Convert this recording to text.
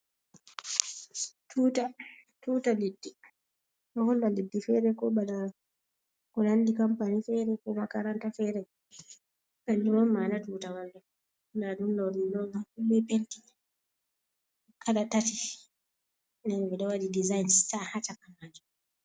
Tuta. Tuta leddi, ɗo holla leddi fere ko bana ko nandi kampani fere, ko Makaranta fere, kanjum on ma'ana tutawal. Ndaa ɗum ɗo be penti kala tati nden ɓe waɗi dizanin sta haa cakaman.